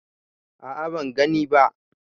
A a ban gani ba.